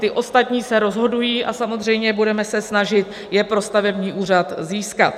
Ti ostatní se rozhodují a samozřejmě budeme se snažit je pro stavební úřad získat.